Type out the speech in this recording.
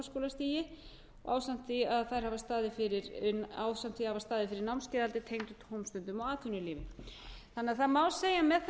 voru farskólar sem störfuðu áður á framhaldsskólastigi ásamt því að hafa staðið fyrir námskeiðahaldi tengdu tómstundum og atvinnulífi það má því segja að með þessu